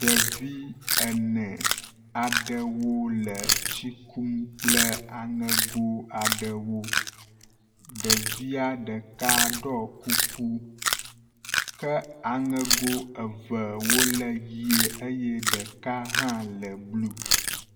Ɖevi ene aɖewo le tsi kum kple aŋego aɖewo. ɖevia ɖeka ɖɔ kuku ke aŋego evewo le ʋi eye ɖeka hã le blu.